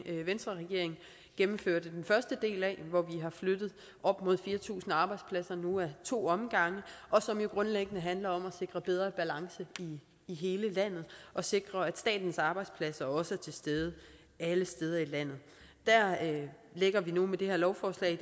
venstreregeringen gennemførte den første del af hvor vi har flyttet op mod fire tusind arbejdspladser nu ad to omgange og som jo grundlæggende handler om at sikre en bedre balance i hele landet og sikre at statens arbejdspladser også er til stede alle steder i landet der lægger vi nu med det her lovforslag